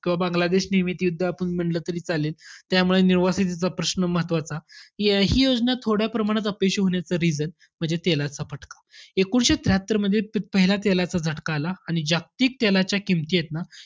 बांगलादेश निमित युद्ध आपण म्हणलं तरी चालेल. त्यामुळे निवासींचा प्रश्न महत्वाचा. ह्या~ हि योजना थोड्या प्रमाणात अपयशी होण्याचं reason म्हणजे, तेलाचा फटका. एकोणीसशे त्र्याहत्तरमध्ये पहिला तेलाचा झटका आला. आणि जागतिक तेलाच्या किंमती आहेत ना,